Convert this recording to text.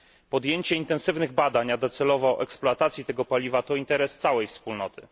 Podjęcie intensywnych badań a docelowo eksploatacja tego paliwa leżą w interesie całej Wspólnoty.